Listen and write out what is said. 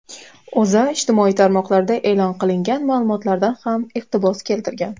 O‘zA ijtimoiy tarmoqlarda e’lon qilingan ma’lumotlardan ham iqtibos keltirgan.